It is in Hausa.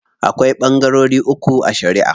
Akwai ɓangarori uku a shariʼa.